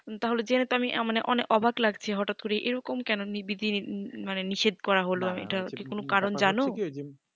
তাহলে জেনে তো আমি তো অবাক লাগছে হঠাৎ করে এই রকম কেন নির্বিধি মানে নিষেদ করা হলো মানে এই টা কোনো না কারণ জানো